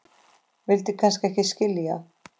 vildi kannski ekki skilja